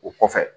O kɔfɛ